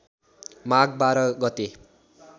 माघ १२ गते